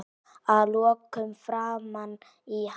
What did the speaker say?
Að lokum framan í hana.